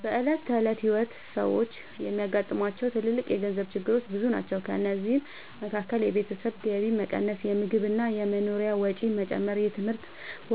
በዕለት ተዕለት ሕይወት ሰዎች የሚያጋጥሟቸው ትልልቅ የገንዘብ ችግሮች ብዙ ናቸው። ከእነዚህ መካከል የቤተሰብ ገቢ መቀነስ፣ የምግብ እና የመኖሪያ ወጪ መጨመር፣ የትምህርት